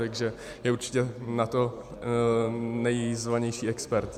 Takže je určitě na to nejzvanější expert.